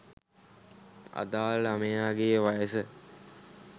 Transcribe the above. අදාළ ළමයාගේ වයස